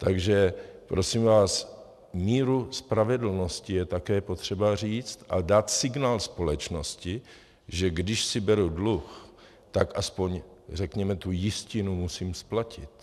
Takže prosím vás, míru spravedlnosti je také potřeba říct a dát signál společnosti, že když si beru dluh, tak aspoň řekněme tu jistinu musím splatit.